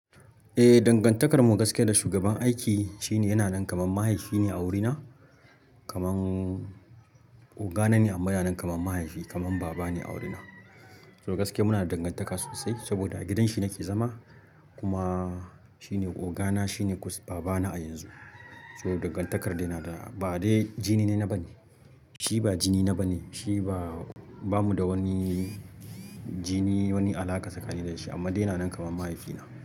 Eh, dangantakar mu gaskiya da shugaban aiki shine yana nan kamar mahaifi ne a wurina, kamar ogana ne amma yana nan kamar mahaifi kamar baba ne a wurina. So gaskiya muna da dangantaka sosai saboda a gidan shi nake zama kuma shi ne ogana shi ne baba na a yanzu. So dangantakar dai na da ba dai jini na bane. Shi ba jini na bane shi ba, bamu da wani jini wani alaƙa tsakani na da shi amma dai yana nan kamar mahaifi na.